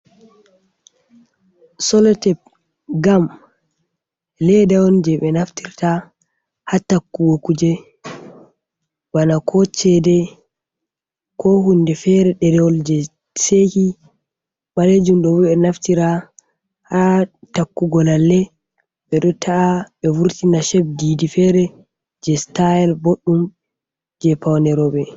Solatep, gam leda on je be naftirta ha takkugo kuje bana ko cede ko hunde fere derewol je seki, balejum ɗo bo ɓe naftira ha takkugo lalle, ɓe ɗo ta’a be vurtina sheb didi fere je style boɗɗum je pawne roɓe.